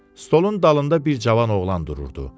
Stolun dalında bir cavan oğlan dururdu.